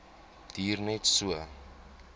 duur net so